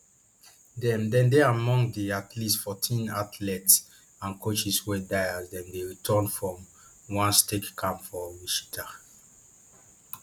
dem dem dey among di at least fourteen athletes and coaches wey die as dem dey return from one skate camp for wichita